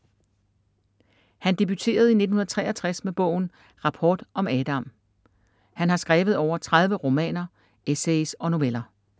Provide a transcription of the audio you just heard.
Han debuterede i 1963 med bogen Rapport om Adam. Han har skrevet over 30 romaner, essays og noveller.